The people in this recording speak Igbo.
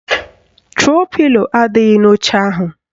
Tro pilo adịghị n'oche ahụ